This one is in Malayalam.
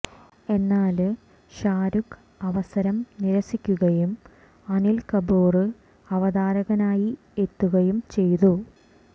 എന്നാല് ഷാരൂഖ് അവസരം നിരസിക്കുകയും അനില് കപൂര് അവതാരകനായി എത്തുകയും ചെയ്തു